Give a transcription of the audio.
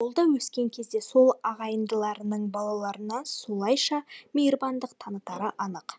ол да өскен кезінде сол ағайындыларының балаларына солайша мейірбандық танытары анық